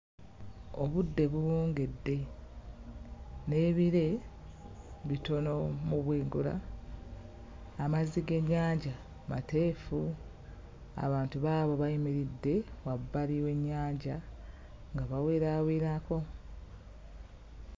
Obudde buwungedde n'ebire bitono mu bwengula, amazzi g'ennyanja mateefu, abantu baabo bayimidde wabbali w'ennyanja nga baweraawerako.